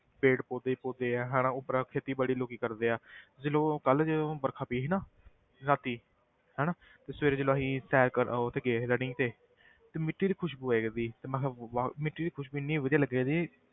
ਪੇੜ੍ਹ ਪੌਦੇ ਹੀ ਪੌਦੇ ਆ ਹਨਾ ਉੱਪਰੋਂ ਖੇਤੀਬਾੜੀ ਲੋਕੀ ਕਰਦੇ ਆ ਜਦੋਂ ਕੱਲ੍ਹ ਜਦੋਂ ਵਰਖਾ ਪਈ ਸੀ ਨਾ ਰਾਤੀ ਹਨਾ ਤੇ ਸਵੇਰੇ ਜਦੋਂ ਅਸੀਂ ਸੈਰ ਕਰਨ ਉੱਥੇ ਗਏ ਸੀ running ਤੇ ਤੇ ਮਿੱਟੀ ਦੀ ਖ਼ੁਸਬੂ ਆਇਆ ਕਰਦੀ ਤੇ ਮੈਂ ਕਿਹਾ ਵਾਹ, ਮਿੱਟੀ ਦੀ ਖ਼ੁਸਬੂ ਇੰਨੀ ਵਧੀਆ ਲੱਗਦੀ ਸੀ,